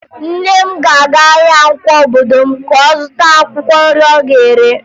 Nne m ga-aga ahịa Nkwọ obodo m ka ọ zụta akwụkwọ nri ọ ga-ere